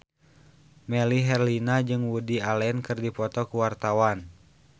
Melly Herlina jeung Woody Allen keur dipoto ku wartawan